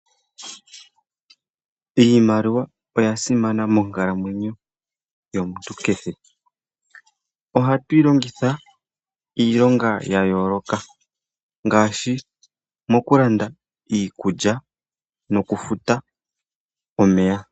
Iimaliwa oya simana monkalamwenyo yomuntu kehe, ohatu yi longitha iilonga ya yooloka ngaashi mokulanda iikulya noku futa omeya.